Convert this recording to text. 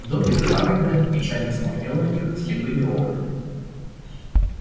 домик хагрида печально смотрел на них слепыми окнами